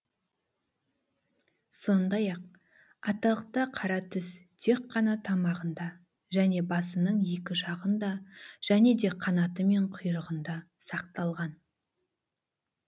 сондай ақ аталықта қара түс тек қана тамағында және басының екі жағында және де қанаты мен құйрығында сақталған